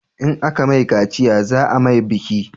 In a ka mai kaciya za a mai biki